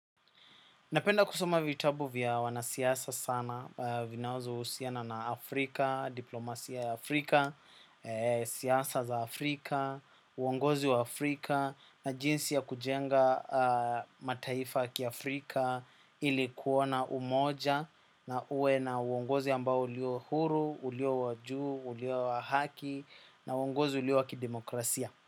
Napenda kusoma vitabu vya wanasiasa sana vinazo usiana na Afrika, diplomasia ya Afrika, siasa za Afrika, uongozi wa Afrika na jinsi ya kujenga mataifa ya kiAfrika ili kuona umoja na ue na uongozi ambao ulio huru, ulio wa juu, ulio wa haki na uongozi ulio wa kidemokrasia.